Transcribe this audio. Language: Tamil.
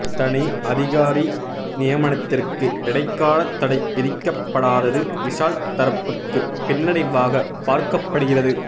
தனி அதிகாரி நியமனத்திற்கு இடைக்கால தடை விதிக்கப்படாதது விஷால் தரப்புக்கு பின்னடைவாக பார்க்கப்படுகிறது